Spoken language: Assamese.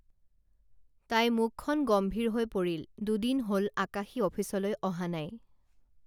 তাই মুখখন গম্ভীৰ হৈ পৰিল দুদিন হল আকাশী অফিচলৈ অহা নাই